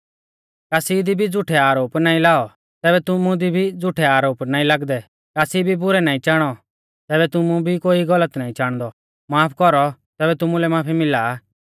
कासी दी भी झ़ुठै आरोप नाईं लाऔ तैबै तुमु दी भी झ़ुठै आरोप नाईं लागदै कासी भी बुरै नाईं चाणौ तैबै तुमु भी कोई गलत नाईं च़ाणदौ माफ कौरौ तैबै तुमुलै माफी मिला